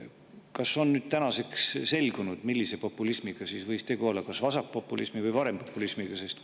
Kas tänaseks on selgunud, millise populismiga võib tegu olla, kas vasakpopulismi või parempopulismiga?